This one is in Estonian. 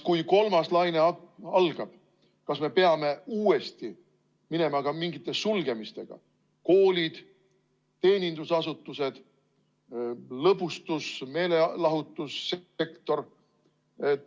Kui kolmas laine algab, kas me peame uuesti minema ka mingite sulgemiste peale: koolid, teenindusasutused, lõbustus- ja meelelahutussektor?